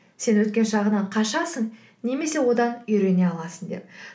сен өткен шағынан қашасың немесе одан үйрене аласың деп